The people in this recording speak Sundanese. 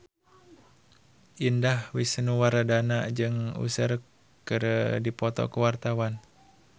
Indah Wisnuwardana jeung Usher keur dipoto ku wartawan